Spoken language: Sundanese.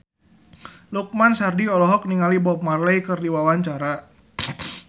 Lukman Sardi olohok ningali Bob Marley keur diwawancara